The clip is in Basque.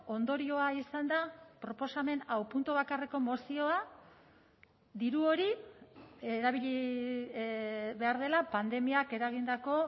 ondorioa izan da proposamen hau puntu bakarreko mozioa diru hori erabili behar dela pandemiak eragindako